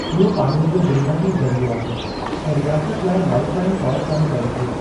इहो पाणीअ जो बुनियादी ज़रीओ आहे ऐं रियासत लाइ लाईफ़ लाइन तौरु कमु करे थो।